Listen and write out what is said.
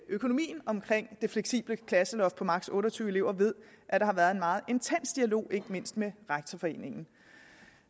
økonomien omkring det fleksible klasseloft på maksimum og tyve elever ved at der har været en meget intens dialog ikke mindst med rektorforeningen